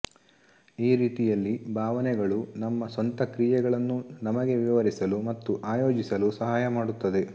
ಈ ರೀತಿಯಲ್ಲಿ ಭಾವನೆಗಳು ನಮ್ಮ ಸ್ವಂತ ಕ್ರಿಯೆಗಳನ್ನು ನಮಗೆ ವಿವರಿಸಲು ಮತ್ತು ಆಯೋಜಿಸಲು ಸಹಾಯ ಮಾಡುತ್ತದೆ